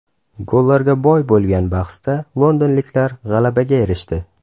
Gollarga boy bo‘lgan bahsda londonliklar g‘alabaga erishdi.